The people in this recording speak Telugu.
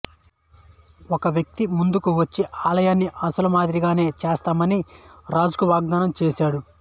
ఒక వ్యక్తి ముందుకు వచ్చి ఆలయాన్ని అసలు మాదిరిగానే చేస్తానని రాజుకు వాగ్దానం చేశాడు